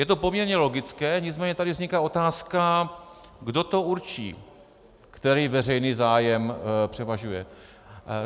Je to poměrně logické, nicméně tady vzniká otázka, kdo to určí, který veřejný zájem převažuje.